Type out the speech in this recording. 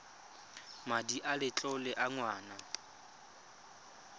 madi a letlole a ngwana